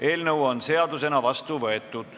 Eelnõu on seadusena vastu võetud.